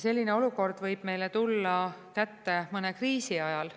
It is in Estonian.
Selline olukord võib meile kätte tulla mõne kriisi ajal.